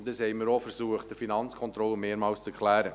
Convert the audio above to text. Wir haben mehrmals versucht, dies der Finanzkontrolle zu erklären.